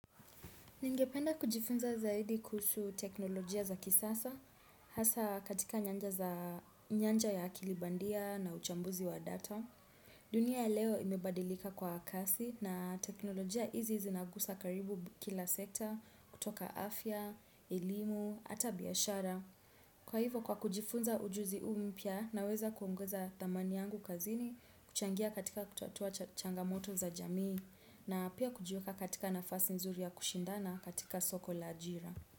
Ningependa kujifunza zaidi kusu teknolojia za kisasa, hasa katika nyanja za nyanja ya kilibandia na uchambuzi wa data. Dunia ya leo imebadilika kwa kasi na teknolojia izi zinagusa karibu kila sekta kutoka afya, elimu, ata biashara. Kwa hivo kwa kujifunza ujuzi uu mpia na weza kuunguza thamani yangu kazini kuchangia katika kutatua changamoto za jamii na pia kujiweka katika nafasi nzuri ya kushindana katika soko la ajira.